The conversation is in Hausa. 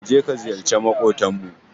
Ka je ka ziyarci maƙotanmu.